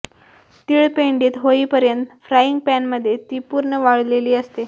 तिळ पेंडीत होईपर्यंत फ्राईंग पॅनमध्ये ती पूर्व वाळलेली असते